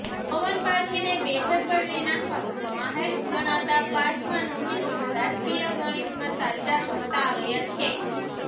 પવન પારખીને બેઠક બદલી નાખવામાં માહેર ગણાતા પાસવાન હંમેશા રાજકીય ગણિતમાં સાચા ઠરતા આવ્યા છે